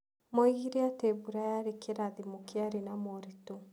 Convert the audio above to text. Moigire atĩ mbura yarĩ kĩrathimo kĩarĩ na moritũ.